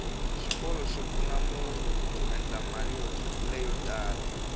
xikolo xi pfuna munhu ku endla mali leyo tala